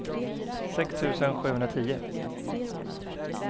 sex tusen sjuhundratio